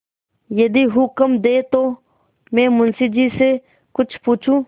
यदि हुक्म दें तो मैं मुंशी जी से कुछ पूछूँ